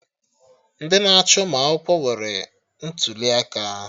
Ndị na-achị ụmụ akwụkwọ nwere ntụli aka